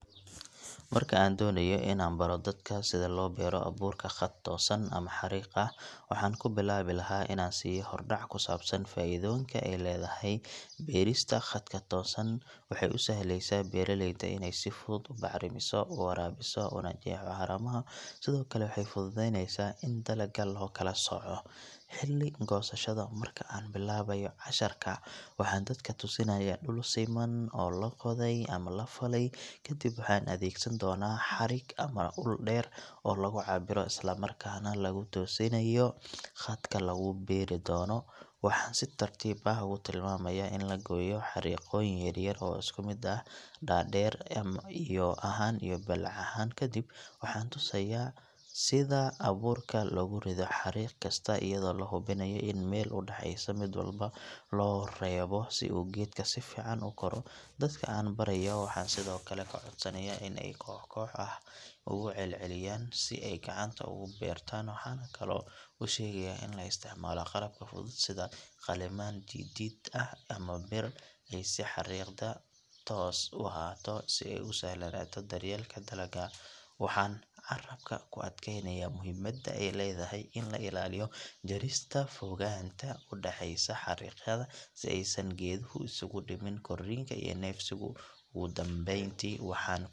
Marka an doonayo inibaroh dadaka sithi lo beeroh abuurka Qaat toosan amah xariqa , waxan kubilawi lahay Ina an siiyohbhordac kusabsan faitha kalethahay berista katoosan waxa u sahli xisab beraleyda ini si futhut u qajisoh u warabisoh iyo calamatha waxa sethokali futhutheyneysah in talakaga lasocoh xeli kosashada marka bilawayobcashirka waxa dadkabtusinaya dul siman oo lagothay amah laf lay kadib waxa adey degsantonah xarik amah ul deer oo lagucabirih Isla markas lagu tuusinayo qaatka lakubiri donh waxa si tartiib ah uku timami kartah in lagoyoh xarikoyin yaryar oo iskumit aah deer daar iyo baleec ahaan kadib, waxantosaya setha abuur ka lokurithoh xarifkasta eyado lahubinayoh ini meel u daceeysoh mid walba lovrartoh si oo keetgaka sifacan u koroh , dadka anbarayoh waxasithokali kacodsanaya inay kox kox aah ugu celecliyan setha